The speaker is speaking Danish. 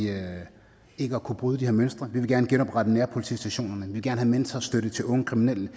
ikke at kunne bryde de her mønstre vi vil gerne genoprette nærpolitistationerne vi vil gerne have mentorstøtte til unge kriminelle vi